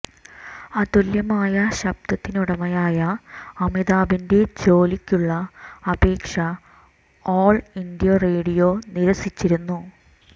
അതുല്യമായ ശബ്ദത്തിനുടമയായ അമിതാഭിന്റെ ജോലിക്കുള്ള അപേക്ഷ ആൾ ഇന്ത്യാ റേഡിയോ നിരസിച്ചിരുന്നു